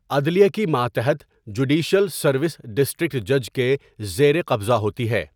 عدلیہ کی ماتحت جوڈیشل سروس ڈسٹرکٹ جج کے زیر قبضہ ہوتی ہے۔